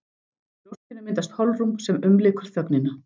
Í brjóstinu myndast holrúm sem umlykur þögnina.